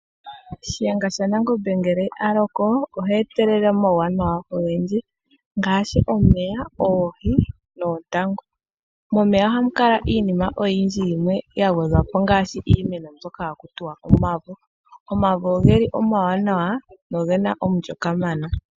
Shiyenga sha Nangombe ngele a loko ohe etelele omauwanawa ogendji ngaashi omeya, oohi noontangu. Momeya ohamu kala iinima oyindji yimwe ya gwedhwa po ngaashi iimeno mbyoka haku tiwa omavo. Omavo ogeli omawanawa nogena omulyo kamana.